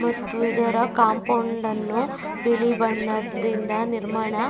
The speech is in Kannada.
ಮತ್ತು ಇದರ ಕಂಪೌಂಡನ್ನು ಬಿಳಿ ಬಣ್ಣದ ನಿರ್ಮಾಣ --